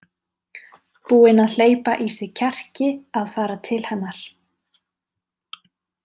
Búinn að hleypa í sig kjarki að fara til hennar.